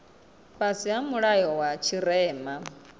fhasi ha mulayo wa tshirema